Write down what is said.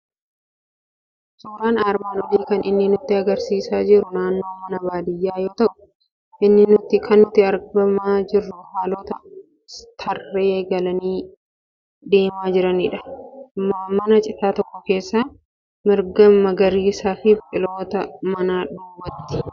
Suuraan armaan olii kan inni nutti argisiisaa jiru naannoo mana baadiyyaa yoo ta'u, kan nutti argamaa jiru hoolota tarree galanii deemaa jiran, mana citaa tokko, marga magariisaa fi biqiltoota mana duubaati.